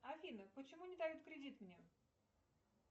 афина почему не дают кредит мне